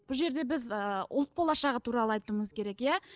бұл жерде біз ыыы ұлт болашағы туралы айтуымыз керек иә